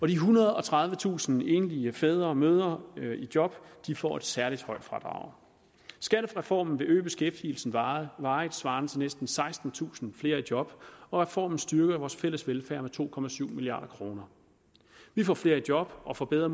de ethundrede og tredivetusind enlige fædre og mødre i job får et særlig højt fradrag skattereformen vil øge beskæftigelsen varigt varigt svarende til næsten sekstentusind flere i job og reformen styrker vores fælles velfærd med to milliard kroner vi får flere i job og får bedre